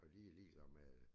Og de er ligeglade med